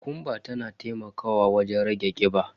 Kokumba tana taimakawa wajen rage kiba.